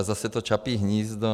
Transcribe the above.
A zase to Čapí hnízdo.